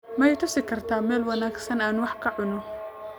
Ma i tusi kartaa meel wanaagsan oo aan wax ka cuno?